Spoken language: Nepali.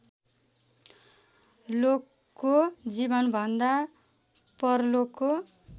लोकको जीवनभन्दा परलोकको